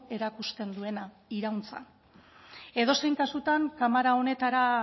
erakusten duena irauntza edozein kasutan kamera honetara